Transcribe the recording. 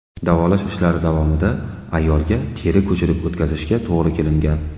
Davolash ishlari davomida ayolga teri ko‘chirib o‘tkazishga to‘g‘ri kelingan.